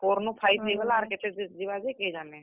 Four ନୁ five ହେଇଗଲା ଆର୍ କେତେ ଧୁର୍ ଯିବା ଯେ କେଜାନେ।